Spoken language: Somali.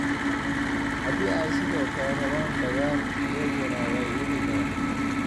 "Haddii ay sidoo kale rabaan dagaal, iyaguna way wici karaan.